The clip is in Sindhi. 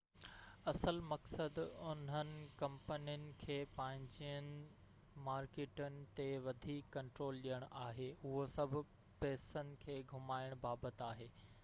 اصل مقصد انهن ڪمپنين کي پنهنجين مارڪيٽن تي وڌيڪ ڪنٽرول ڏيڻ آهي اهو سڀ پئسن کي گهمائڻ بابت آهي